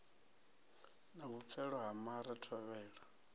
na vhupfelo ha mare thovhela